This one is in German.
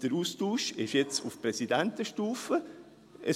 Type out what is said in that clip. Der Austausch findet jetzt auf Präsidentenstufe statt.